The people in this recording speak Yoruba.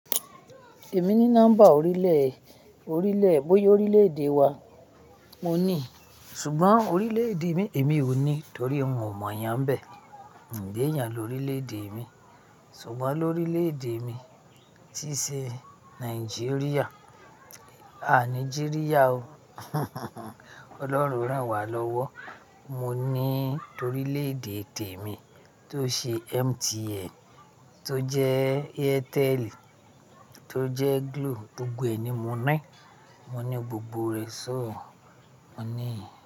Èmi ní nọ́mbà orílẹ̀, orílẹ̀ bóyá orílẹ̀-èdè wa mo ní. Ṣùgbọ́n orílẹ̀-èdè mi èmi ò ní torí un ò mọ̀ yàn bẹ́ẹ̀. Ǹ lèèyàn l'orílẹ̀-èdè mi. Ṣùgbọ́n orílẹ̀-èdè mi tí ṣe Nàìjíríà. À ni ji riya o. Ọlọ́run ràn wá lọ́wọ́. Mo ní torí orílẹ̀-èdè tẹ̀mi tó ṣe MTN, tó jẹ́ Airtel, tó jẹ́ Glo, gbogbo ẹ̀ ni mo ní. Mo ní gbogbo rẹ̀ so. Mo ní.